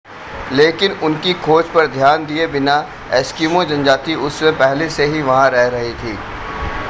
लेकिन उनकी खोज पर ध्यान दिए बिना एस्किमो जनजाति उस समय पहले से ही वहां रह रही थी